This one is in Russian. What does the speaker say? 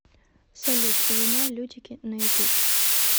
салют луна лютики на ютуб